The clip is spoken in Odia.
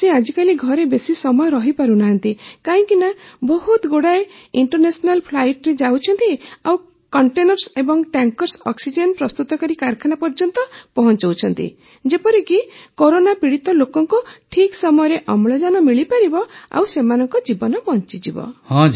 ସେ ଆଜିକାଲି ଘରେ ବେଶି ସମୟ ରହିପାରୁନାହାନ୍ତି କାହିଁକିନା ବହୁତ ଗୁଡ଼ାଏ ଇଣ୍ଟରନେସନାଲ ଫ୍ଲାଇଟରେ ଯାଉଛନ୍ତି ଆଉ କଣ୍ଟେନର୍ସ ଏବଂ ଟ୍ୟାଙ୍କର୍ସ ଅକ୍ସିଜେନ୍ ପ୍ରସ୍ତୁତକାରୀ କାରଖାନା ପର୍ଯ୍ୟନ୍ତ ପହଁଚାଉଛନ୍ତି ଯେପରିକି କରୋନା ପୀଡ଼ିତ ଲୋକଙ୍କୁ ଠିକ୍ ସମୟରେ ଅମ୍ଳଜାନ ମିଳିପାରିବ ଆଉ ସେମାନଙ୍କ ଜୀବନ ବଞ୍ଚିଯିବ